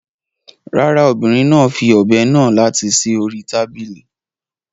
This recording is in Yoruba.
Rárá, obìnrin náà fi ọ̀be náà láti sí orí tábìlì.